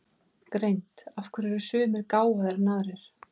Greind Af hverju eru sumir gáfaðri en aðrir?